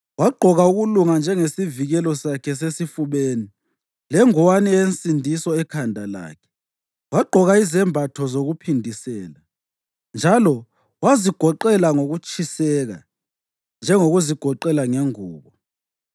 Wagqoka ukulunga njengesivikelo sakhe sasesifubeni, lengowane yensindiso ekhanda lakhe; wagqoka izembatho zokuphindisela njalo wazigoqela ngokutshiseka njengokuzigoqela ngengubo.